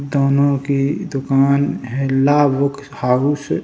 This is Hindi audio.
दोनों की दुकान है लाभ बुक हाउस --